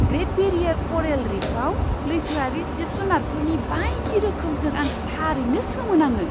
Great barrier coral रीफआव लैथोआरि जिब जुनारफोरनि बायदि रोखोमजों आं थारैनो सोमोनाङो!